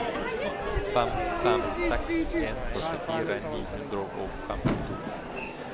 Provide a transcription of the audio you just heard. fem fem seks en førtifire ni hundre og femtito